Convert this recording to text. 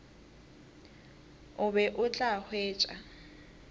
o be o tla hwetša